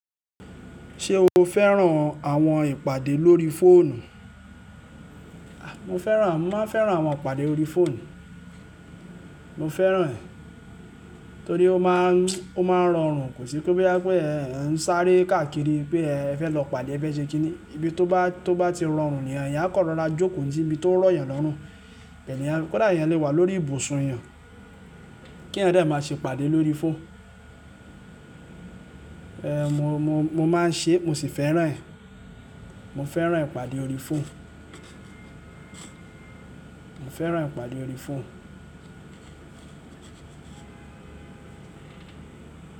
Ṣé o fẹ́ràn àwọn ìpàdé lórí fóònù? Mo fẹ́ràn, mo máa ń fẹ́ràn àwọn ìpàdé orí fóònù. Mo fẹ́ràn ẹ̀, torí ó má ń, ó máa ń rọrùn, kò sí pé boya pé ẹń sáré káàkiri pé ẹ fẹ́ lọ pàdé ẹ fẹ̀ ṣe kí ni, ibi tó bá, tó bá ti rọrùn ni èèyàn kan rọrá jókòó sí ibi tó rọ̀ eeyan lọ́rùn. Èèyàn, kódà èèyàn lè wà lórí ìbùsùn èèyàn, kí ẹeyan dé má ṣe pàdé lórí fóòn. Mo, mo, mo máa ń ṣe é, mo sì fẹ́ràn ẹ̀. Mo fẹ́ràn ìpàdé orí fóònù. Mo fẹ́ràn ìpàdé orí fóònù.